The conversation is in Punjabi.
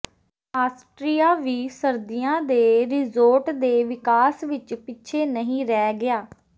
ਆਸਟ੍ਰੀਆ ਵੀ ਸਰਦੀਆਂ ਦੇ ਰਿਜੋਰਟ ਦੇ ਵਿਕਾਸ ਵਿਚ ਪਿੱਛੇ ਨਹੀਂ ਰਹਿ ਗਿਆ